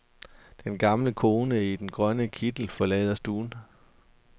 Den gamle kone i den grønne kittel forlader stuen.